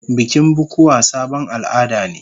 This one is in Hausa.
Bikin bukuwa sabon al'ada ne.